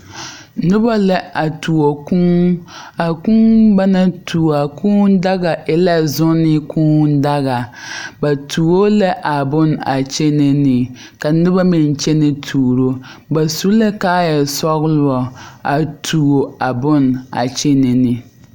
Noba la a tuo kuu a kuu ba naŋ tuo a kuu daga e la zunne kuu daga ba tuo la a bonne a kyɛnɛ ne ka noba meŋ kyɛnɛ tuuro ba su la kaayasɔglo a tuo a bonne a kyɛnɛ ne.